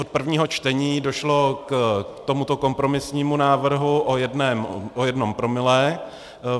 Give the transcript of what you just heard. Od prvního čtení došlo k tomuto kompromisnímu návrhu o jednom promile.